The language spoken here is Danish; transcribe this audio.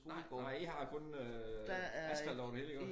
Nej nej i har kun øh asfalt over det hele iggå